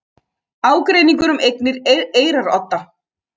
Ágreiningur um eignir Eyrarodda